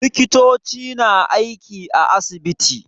Likitoci na aiki a asibiti.